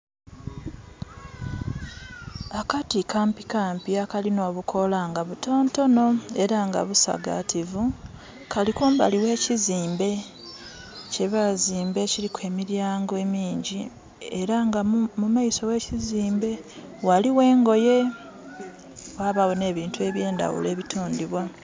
Akati kampikampi akalina obukoola nga butonotono era nga busagaativu, kali kumbali ghe kizimbe kye bazimba ekiliku emilyango emingyi. Era nga mumaiso ghe kizimbe ghaligho engoye ghabagho nh'ebintu eby'endaghulo ebitundhibwa.